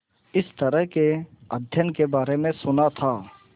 इस तरह के अध्ययन के बारे में सुना था